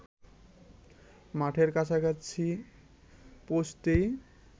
মাঠের কাছাকাছি পেঁৗছতেই